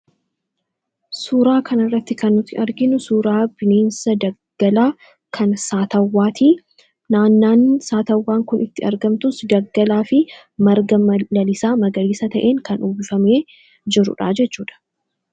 suuraa kanarratti kan nuti arginu suuraa bineensa daggalaa kan saatawwaati naannawaa saatawwaan kun itti argamtus daggalaa fi marga lalisaa magariisa ta'en kan uwwifamee jirudha .jechuudha